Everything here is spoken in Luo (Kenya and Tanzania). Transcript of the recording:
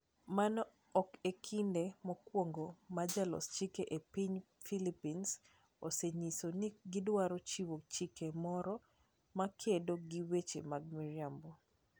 Mano ok e kinde mokwongo ma jolos chike e piny Philippines osenyiso ni gidwaro chiwo chik moro makedo gi weche mag miriambo.